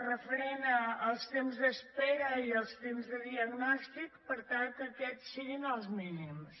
referent als temps d’espera i els temps de diagnòstic per tal que aquests siguin els mínims